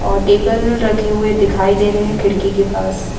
और टेबल रखे हुए दिखाई दे रहे हैं खिड़की के पास।